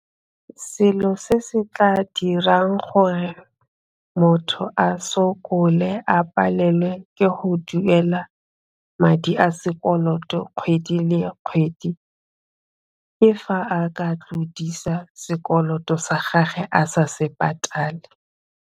Selo se se tla dirang gore motho a sokole a palelwe ke go duela madi a sekoloto kgwedi le kgwedi ke fa a ka tlodisa sekoloto sa gagwe a sa se patale.